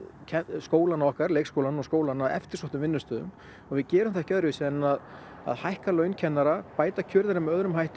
skólana okkar leikskólana og skólana að eftirsóttum vinnustöðum og við gerum það ekki öðruvísi en að að hækka laun kennara bæta kjör þeirra með öðrum hætti